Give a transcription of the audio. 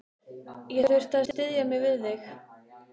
Ég þurfti að styðja mig við þig.